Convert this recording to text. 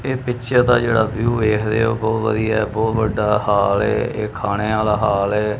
ਇਹ ਪਿਕਚਰ ਦਾ ਜੇਹੜਾ ਵਿਊ ਵੇਖਦੇ ਹੋ ਬਹੁਤ ਵਧੀਆ ਹੈ ਬਹੁਤ ਵੱਡਾ ਹਾਲ ਏ ਏਹ ਖਾਣੇ ਆਲ਼ਾ ਹਾਲ ਏ।